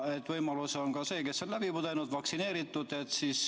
On võimalus, et selle saavad need, kes on haiguse läbi põdenud või vaktsineeritud.